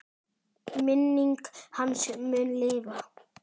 Minning hans mun lifa.